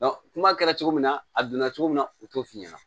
kuma kɛra cogo min na a donna cogo min na u t'o f'i ɲɛna